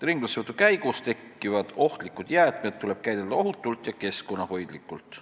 Ringlussevõtu käigus tekkivad ohtlikud jäätmed tuleb käidelda ohutult ja keskkonnahoidlikult.